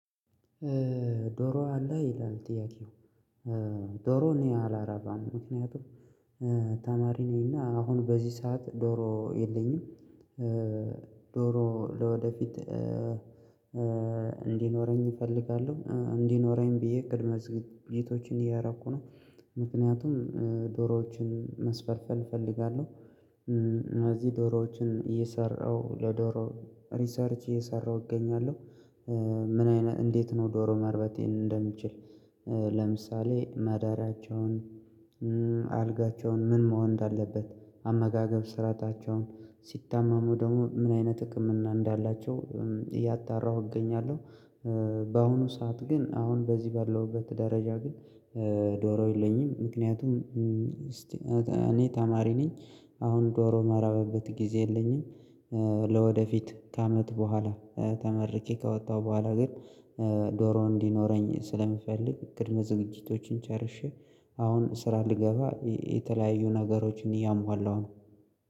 ዶሮ አለህ ይላል ጥያቄው? ዶሮ እኔ አላረባም ምክንያቱም ተማሪ ነኝ እና አሁን በዚ ሰዓት ዶሮ የለኝም። ዶሮ ለወደፊት እንዲኖረኝ እፈልጋለሁ እንዲኖረኝ ብዬ ቅድመ ዝግጅቶችን እያደረኩ ነው። ምክንያቱም ዶሮዎችን ማስፈልፈል ፈልጋለሁ። እነዚ ዶሮዎች እየሰራሁ በዶሮ ሪሰርች እየሰራሁ እገኛለሁ። ምን አይነት እንዴት ነው ዶሮ ማርባት እንደምችል? ለምሳሌ አዳራቸውን አልጋቸውን ምን መሆን እንዳለበት አመጋገብ ስራታቸው ሲታመሙ ደግሞ ምን አይነት ህክምና እንዳላቸው እያጣራሁ እገኛለሁ። ባሁኑ ሰዓት ግን አሁን በዚ ባለሁበት ደረጃ ዶሮ የለኝም። ምክንያቱም እኔ ተማሪ ነኝ። አሁን ዶሮ የማረባበት ግዜ የለኝም። ለወደፊት ከአመት በኋላ ተመርቄ ከወጣሁ በኋላ ግን ዶሮ እንዲነረኝ ስለምፈልግ ቅድመ ዝግጅቶችን ጨርሼ አሁን ስራ ልገባ የተለያዩ ነገሮችን እያሟላሁ ነው